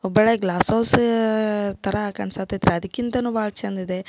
Hubballi glass house ತರ ಕಾನ್ಸ ಹತೈತಿ ಅದಕ್ಕಿಂತಲೂ ಬಹಳ ಚಂದ್ ಇದೆ.